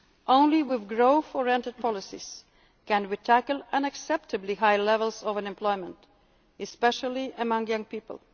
growth. Only with growth oriented policies can we tackle unacceptably high levels of unemployment, especially among